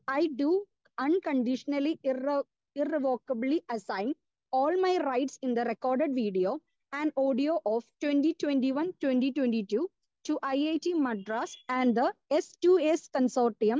Speaker 2 I do unconditionally irrevocably assign all my rights in the record video and audio of twenty twenty one to twenty twenty two to IIT Madras and the S 2 S consortium for Indian languages. I do understand that IIT Madras and the S two S consortium